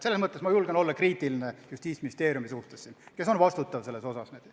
Selles mõttes ma julgen olla kriitiline Justiitsministeeriumi suhtes, kes selle eest vastutab.